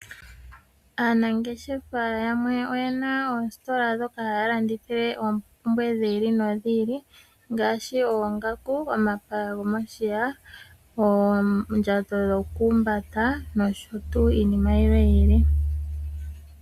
Aanangeshefa yamwe oyena oositola ndhoka haya landithile oompumbwe dhi ili nodhi ili, ngaashi oongaku, omapaya gomoshiya, oondjato dhoku humbata, nosho tuu.